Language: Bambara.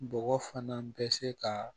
Bɔgɔ fana bɛ se ka